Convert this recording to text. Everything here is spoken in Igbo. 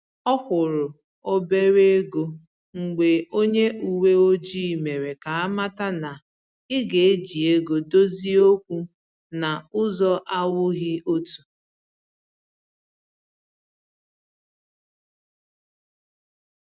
Ọ kwụrụ̀ obere égo mgbe onye uweojii mere ka amata na ị ga eji ego dozie okwu na ụzọ anwụghị ọtọ